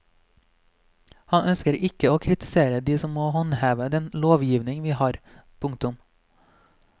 Han ønsker ikke å kritisere de som må håndheve den lovgivningen vi har. punktum